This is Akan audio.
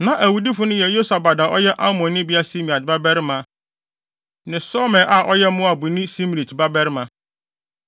Na awudifo no yɛ Yosabad a ɔyɛ Amonnibea Simeat babarima, ne Somer a ɔyɛ Moabnibea Simrit babarima.